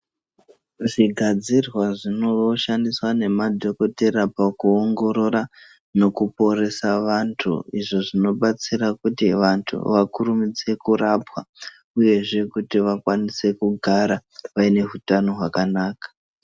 Zvigadzirwa zvinooshandiswa nemadhokotera pakuongorora nokuporesa vanthu, izvo zvinobatsira kuti vanthu vakurumidze kurapwa, uyezve kuti vakwanise kugara, vaine hutano hwakanaka.